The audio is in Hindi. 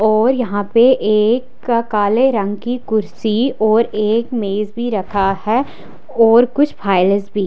और यहां पे एक का काले रंग की कुर्सी और एक मेंज भी रखा है और कुछ फाइल्स भी--